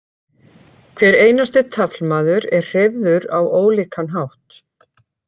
Hver einasti taflmaður er hreyfður á ólíkan hátt.